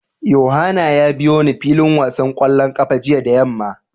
Yohana ya biyo ni filin wasan kwallon kafa jiya da yamma.